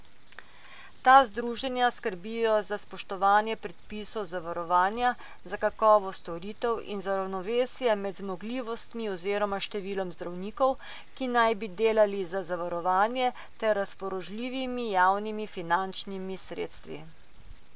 Ta združenja skrbijo tudi za spoštovanje predpisov zavarovanja, za kakovost storitev in za ravnovesje med zmogljivostmi oziroma številom zdravnikov, ki naj bi delali za zavarovanje, ter razpoložljivimi javnimi finančnimi sredstvi.